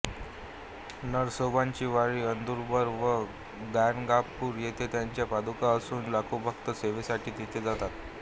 नरसोबाची वाडी औदुंबर व गाणगापूर येथे त्यांच्या पादुका असून लाखो भक्त सेवेसाठी तेथे जातात